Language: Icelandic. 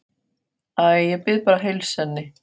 Æ, ég bið bara að heilsa henni